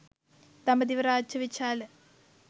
දඹදිව රාජ්‍ය විචාල